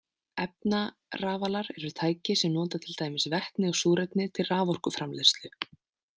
Efnarafalar eru tæki sem nota til dæmis vetni og súrefni til raforkuframleiðslu.